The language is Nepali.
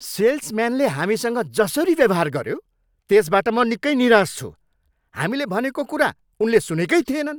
सेल्सम्यानले हामीसँग जसरी व्यवहार गऱ्यो, त्यसबाट म निकै निराश छु, हामीले भनेको कुरा उनले सुनेकै थिएनन्।